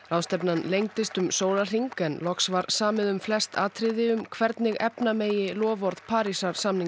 ráðstefnan lengdist um sólarhring en loks var samið um flest atriði um hvernig efna megi loforð Parísarsamningsins